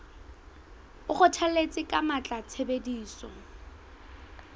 o kgothalletsa ka matla tshebediso